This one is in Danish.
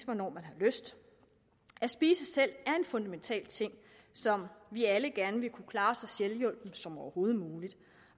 hvornår man har lyst at spise selv er en fundamental ting som vi alle gerne vil klare så selvhjulpent som overhovedet muligt